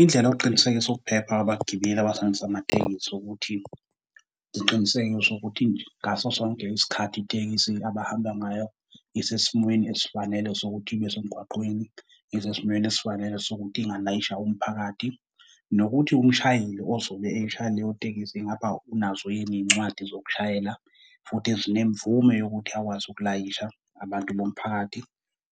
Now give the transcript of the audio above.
Indlela yokuqinisekisa ukuphepha kwabagibeli abasebenzisa amatekisi ukuthi ngiqinisekise ukuthi ngaso sonke isikhathi itekisi abahamba ngayo isesimweni esifanele sokuthi ibe semgwaqeni, isesimeni esifanele sokuthi ingalayisha umphakathi. Nokuthi umshayeli ozobe eyishayela leyo tekisi ingaba unazo yini izincwadi zokushayela, futhi ezinemvume yokuthi akwazi ukulayisha abantu bomphakathi,